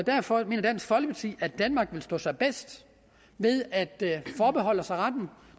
derfor mener dansk folkeparti at danmark vil stå sig bedst ved at forbeholde sig retten